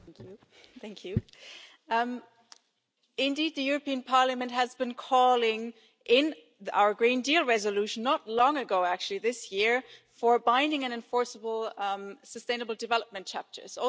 Madam President, the European Parliament has been calling in our Green Deal Resolution not long ago, actually, this year for binding and enforceable sustainable development chapters.